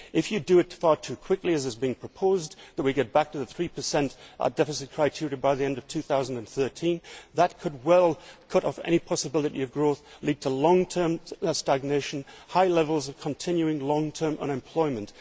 If you do it far too quickly, as is being proposed that we get back to the 3 deficit criteria by the end of 2013 that could well cut off any possibility of growth and lead to long term stagnation and high levels of continuing long term unemployment.